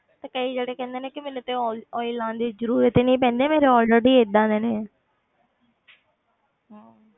ਤੇ ਕਈ ਜਿਹੜੇ ਕਹਿੰਦੇ ਨੇ ਕਿ ਮੈਨੂੰ ਤੇ oil oil ਲਾਉਣ ਦੀ ਜ਼ਰੂਰਤ ਹੀ ਨੀ ਪੈਂਦੀ ਮੇਰੇ already ਏਦਾਂ ਦੇ ਨੇ ਹਮ